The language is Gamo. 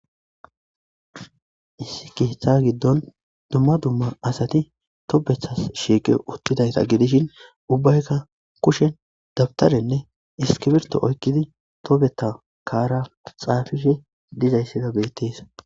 Issi ketha gidon duma duma asati tobethas shiqi uttidaysa gidishin ubbayka kushen dawtaranne iskirito oykidi tobetha kaara xaafidi dizaysika beetes.